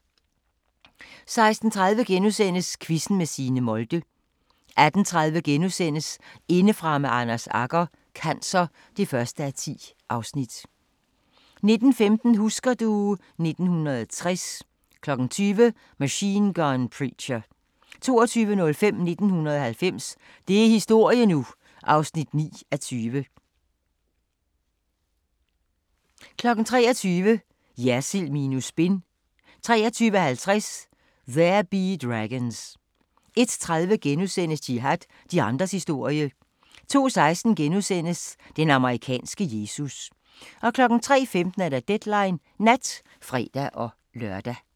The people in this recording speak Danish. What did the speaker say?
16:30: Quizzen med Signe Molde * 18:30: Indefra med Anders Agger - cancer (1:10)* 19:15: Husker du ... 1960 20:00: Machine Gun Preacher 22:05: 1990 – det er historie nu! (9:20) 23:00: Jersild minus spin 23:50: There Be Dragons 01:30: Jihad – de andres historie * 02:16: Den amerikanske Jesus * 03:15: Deadline Nat (fre-lør)